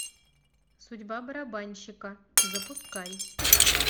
судьба барабанщика запускай